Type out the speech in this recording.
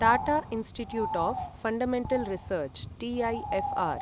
Tata institute of fundamental research TIFR